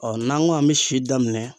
Ɔ n'an ko an bɛ si daminɛ